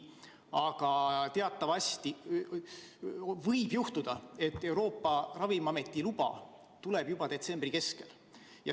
Samas võib teatavasti juhtuda, et Euroopa Ravimiameti luba tuleb juba detsembri keskel.